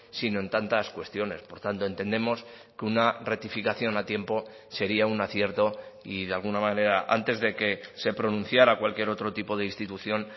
sino en tantas cuestiones por tanto entendemos que una rectificación a tiempo sería un acierto y de alguna manera antes de que se pronunciara cualquier otro tipo de institución